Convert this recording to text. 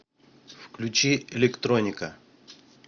включи электроника